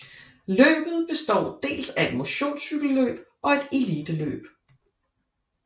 Løbet består dels af et motionscykelløb og et eliteløb